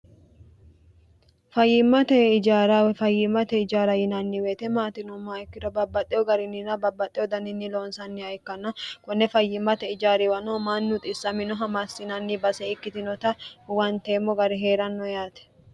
fayyimmate ijarafayyimmate ijaara yinanni weyite maatinoomma ikkira babbaxxe ogarinnina babbaxxe odaninni loonsanniha ikkanna konne fayyimmate ijaariwano manni uxissamino hamaassinanni base ikkitinota uwanteemmo gari hee'ranno yaate